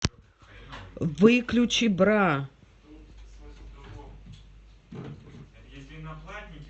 выключи бра